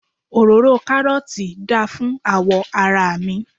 òróró karọọti da fún awọ ara mi